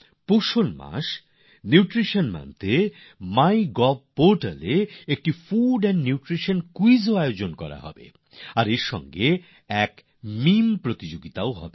পুষ্টির মাস পুষ্টি মাসএর সময়ে মাই গভ পোর্টালে একটি ফুড এন্ড নিউট্রিশন কুইজ এর আয়োজন করা হচ্ছে আর তার সঙ্গে মিম কম্পিটিশনও হবে